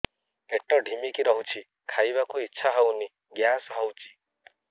ପେଟ ଢିମିକି ରହୁଛି ଖାଇବାକୁ ଇଛା ହଉନି ଗ୍ୟାସ ହଉଚି